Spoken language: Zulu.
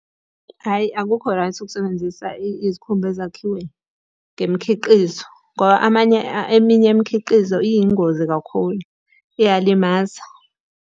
Hhayi akukho right ukusebenzisa izikhumba ezakhiwe ngemikhiqizo, ngoba amanye eminye imikhiqizo iyingozi kakhulu, iyalimaza.